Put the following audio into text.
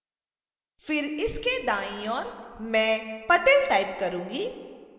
फिर इसके दाईं ओर मैं patel टाइप करूंगी